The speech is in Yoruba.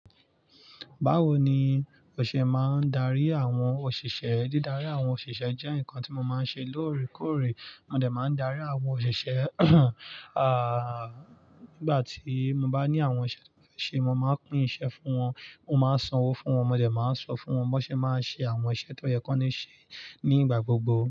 Báwo ni òṣè máa ń darí àwọn òṣìṣẹ́? Dídarí àwọn òṣìṣẹ́ jẹ́ nǹkan tí mo máa ń ṣe lóòrèkóòrè. Mo dẹ̀ máa ń darí àwọn òṣìṣẹ́ à nígbà tí mo bá ní àwọn ìṣe tí mo fẹ́ se, mo máa pín iṣẹ́ fún wọn, mo máa sanwó fún wọn, mo de máa sọ fún wọn bi wọn ṣe máa ṣe àwọn iṣẹ́ tó yẹ kí wọ́n ṣe nígbà gbogbo.